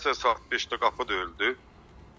Səhər-səhər saat 5-də qapı döyüldü.